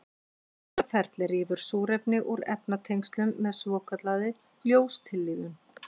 Þetta ferli rýfur súrefni úr efnatengslum með svokallaðri ljóstillífun.